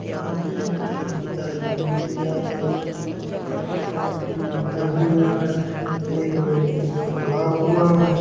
यहा पे एक थेरेपी टाइप की दी जा रही है एक व्यक्ति लेटा हुआ है एक व्यक्ति खड़ा हुआ है।